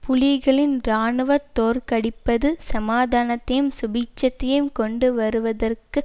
புலிகளின் இராணுவ தோற்கடிப்பது சமாதானத்தையும் சுபீட்சத்தையும் கொண்டு வருவதற்கு